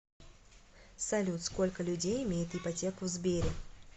салют сколько людей имеют ипотеку в сбере